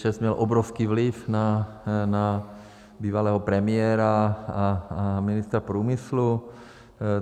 ČEZ měl obrovský vliv na bývalého premiéra a ministra průmyslu.